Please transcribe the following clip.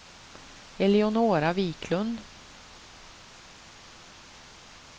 Eleonora Wiklund